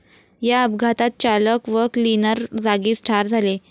या अपघातात चालक व क्लिनर जागीच ठार झाले.